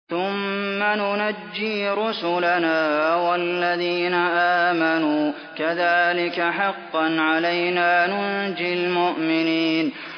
ثُمَّ نُنَجِّي رُسُلَنَا وَالَّذِينَ آمَنُوا ۚ كَذَٰلِكَ حَقًّا عَلَيْنَا نُنجِ الْمُؤْمِنِينَ